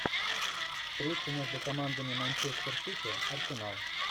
встреча между командами манчестер сити арсенал